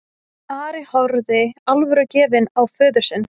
Ari horfði alvörugefinn á föður sinn.